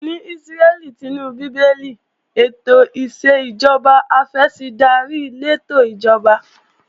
Ní Ísírẹ́lì tinú Bíbélì, ètò ìṣèjọba afẹ̀sìndarí lètò ìjọba